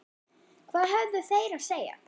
Hvað höfðu þeir að segja?